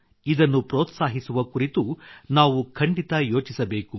ಇದನ್ನು ಪ್ರೋತ್ಸಾಹಿಸುವ ಕುರಿತು ನಾವು ಖಂಡಿತ ಯೋಚಿಸಬೇಕು